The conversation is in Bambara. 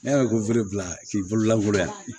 Ne yɛrɛ ko k'i bololangolo yan